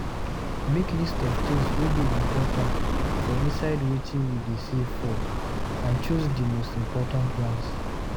Make list of things wey dey important for inside wetin you dey save for and choose di most important ones